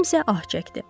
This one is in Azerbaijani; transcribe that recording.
Kimsə ah çəkdi.